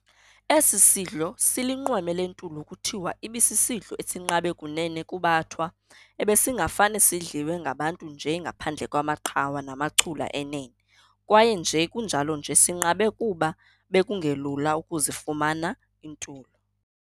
Esi sidlo silinqweme lentulo kuthiwa ibisisidlo esinqabe kunene kubaThwa ebesingafumane sidliwe ngabantu nje ngaphandle kwamaqhawa namachula enene, kwaye nje kunjalo nje sinqabe kuba bekungelula ukuzifumana iintulo.